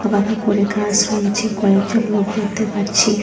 বাঁকা করে গাস রয়েছে কয়েকজন লোক দেখতে পাচ্ছি।